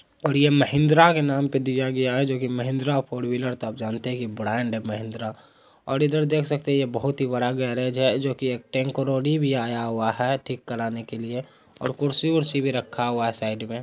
और ये महिंद्रा के नाम पर दिया गया है जोकि महिंद्रा फोर विलर तो आप जानते हैं की ब्रांड है महिंद्रा । और इधर देख सकते हैं ये बोहत ही बड़ा गेरेज है जोकि एक टैंकरोडी भी आया हुआ है ठीक करने के लिए और कुर्सी-वुर्सी भी रखा हुआ है साइड में।